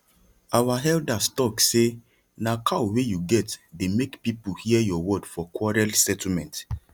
our elders talk say na cow wey you get dey make people hear your word for quarrel settlement